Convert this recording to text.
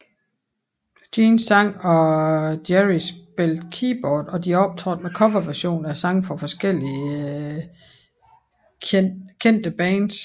Jean sang og Gerry spillede keyboard og de optrådte med coverversioner af sange fra forskellige kendte bands